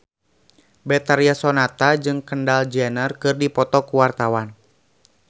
Betharia Sonata jeung Kendall Jenner keur dipoto ku wartawan